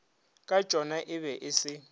katšona e be e se